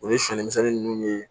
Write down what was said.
O ye siyɛn misɛnnin ninnu ye